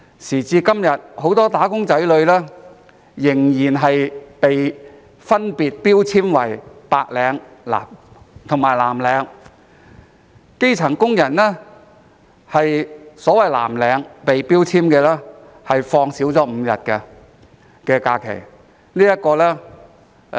時至今日，很多"打工仔女"仍分別被標籤為白領及藍領，基層工人被標籤為所謂藍領，享有的假期少5日。